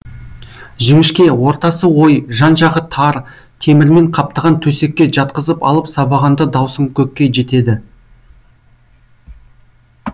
жіңішке ортасы ой жан жағы тар темірмен қаптаған төсекке жатқызып алып сабағанда даусың көкке жетеді